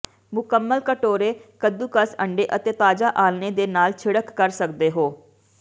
ਮੁਕੰਮਲ ਕਟੋਰੇ ਕੱਦੂਕਸ ਅੰਡੇ ਅਤੇ ਤਾਜ਼ਾ ਆਲ੍ਹਣੇ ਦੇ ਨਾਲ ਛਿੜਕ ਕਰ ਸਕਦੇ ਹੋ